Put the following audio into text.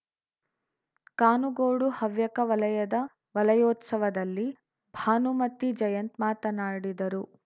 ಕಾನುಗೋಡು ಹವ್ಯಕ ವಲಯದ ವಲಯೋತ್ಸವದಲ್ಲಿ ಭಾನುಮತಿ ಜಯಂತ್‌ ಮಾತನಾಡಿದರು